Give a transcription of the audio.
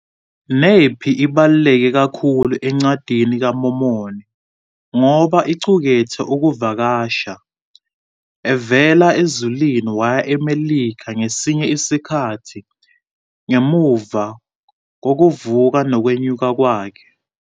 Nephi ibaluleke kakhulu eNcwadini kaMormoni ngoba iqukethe ukuvakasha kukaJesu evela ezulwini waya eMelika ngesinye isikhathi ngemuva kokuvuka nokwenyuka kwakhe.